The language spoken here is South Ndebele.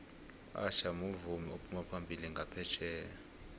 usher muvumi ophuma phambili nqaphetjheya